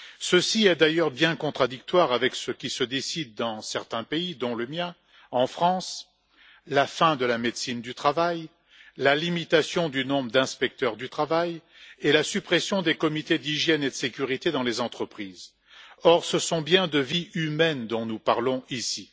Cela est d'ailleurs bien contradictoire avec ce qui se décide dans certains pays, dont le mien, en France la fin de la médecine du travail, la limitation du nombre d'inspecteurs du travail et la suppression des comités d'hygiène et de sécurité dans les entreprises. Or, ce sont bien de vies humaines dont nous parlons ici.